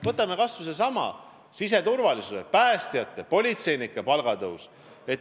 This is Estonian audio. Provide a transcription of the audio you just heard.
Võtame kas või sellesama siseturvalisuse valdkonna, päästjate ja politseinike palga tõusu.